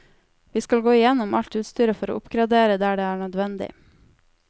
Vi skal gå igjennom alt utstyret for å oppgradere der det er nødvendig.